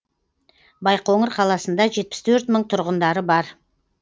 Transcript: байқоңыр қаласында жетпіс төрт мың тұрғындары бар